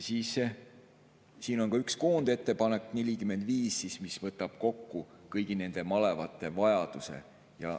Siin on üks koondettepanek, nr 45, mis võtab kokku kõigi malevate vajaduse.